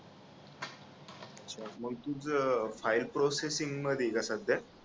मग तुझं file processing मध्ये आहे का सध्या?